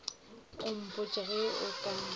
o mpotše ge e ka